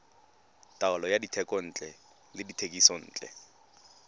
taolo ya dithekontle le dithekisontle